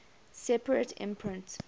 separate imprint